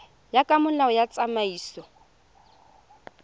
ya ka molao wa tsamaiso